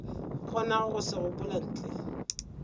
kgonago go se gopola ntle